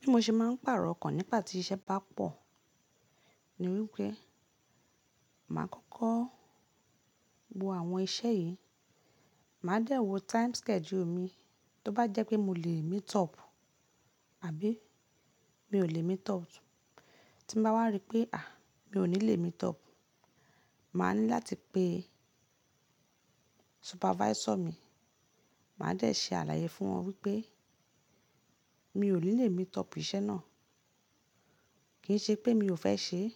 Bí mo ṣe máà ń pàrọ̀ ọkàn nípa tí iṣẹ́ bá pọ̀ ni wípé, màá kọ́kọ́ wo àwọn iṣẹ́ yìí. Màá dẹ́ wo time schedule mi, tó bá jẹ́ pé mo lè meet up àbí mi ò lè meet up. Tí mo bá wá rí pé à, mi ò ní lè meet up, màá ní láti pe supervisor mi, màá dẹ́ẹ̀ ṣe àlàyé fún wọn wípé mi ò ní lè meet up ìṣe náà. Kì ń ṣe pé mi ò fẹ́ ṣe é,